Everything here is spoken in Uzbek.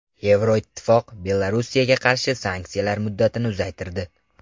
Yevroittifoq Belorussiyaga qarshi sanksiyalar muddatini uzaytirdi.